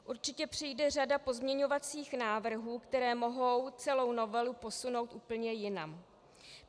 Určitě přijde řada pozměňovacích návrhů, které mohou celou novelu posunout úplně jinam.